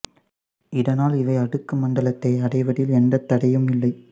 இதனால் இவை அடுக்கு மண்டலத்தை அடைவதில் எந்த தடையும் இல்லை